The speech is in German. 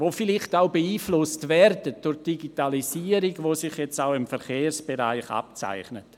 Die vielleicht auch beeinflusst werden, zum Beispiel durch die Digitalisierung, die sich jetzt auch im Verkehrsbereich abzeichnet?